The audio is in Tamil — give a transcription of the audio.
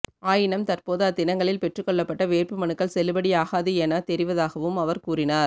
ஆயினம் தற்போது அத்தினங்களில் பெற்றுக் கொள்ளப்பட்ட வேட்புமனுக்கள் செல்லுபடியாகாது என தெரிவதாகவும் அவர் கூறினார்